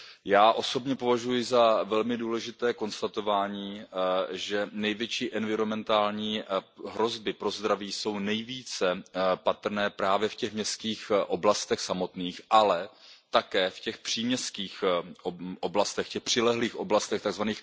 Já osobně považuji za velmi důležité konstatování, že největší environmentální hrozby pro zdraví jsou nejvíce patrné právě v těch městských oblastech samotných, ale také v těch příměstských oblastech, v těch přilehlých oblastech, tzv.